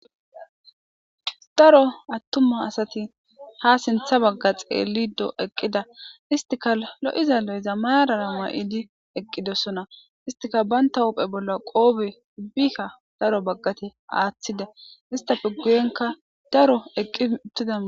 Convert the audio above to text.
daro attuma asati ha sintha bagga xeellido eqqida istika lo7iza lo7iza marara mua7idi eqqidossona istika banta uphe bolla qoobe ubbikka daro baggate aaththida istafe guyenka daro eqqi uttida